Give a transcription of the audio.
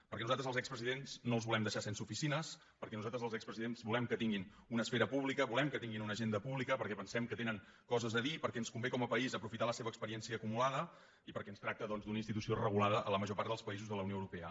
perquè nosaltres als expresidents no els volem deixar sense oficines perquè nosaltres els expresidents volem que tinguin una esfera pública volem que tinguin una agenda pública perquè pensem que tenen coses a dir perquè ens convé com a país aprofitar la seva experiència acumulada i perquè es tracta doncs d’una institució regulada a la major part dels països de la unió europea